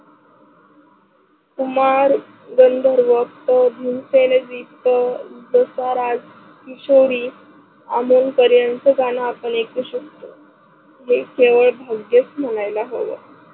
कुमार गंधर्व, धूम पेनेजीकत, दसाराज किशोरी, अमोलकर यांचं गाणं आपण ऐकू शकतो. हे केवळ भाग्यच म्हणायला हव.